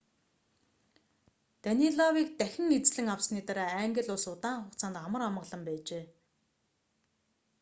данилавыг дахин эзлэн авсаны дараа англи улс удаан хугацаанд амар амгалан байжээ